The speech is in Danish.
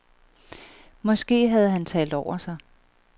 Måske havde han talt over sig.